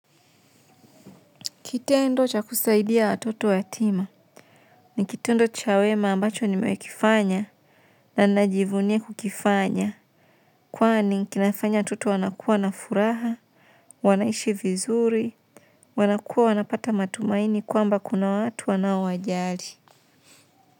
Kitendo cha kusaidia watoto ya tima, ni kitendo cha wema ambacho nime kifanya na najivunia kukifanya. Kwani kinafanya watoto wanakua na furaha, wanaishi vizuri, wanakua wanapata matumaini kwamba kuna watu wanao wajali.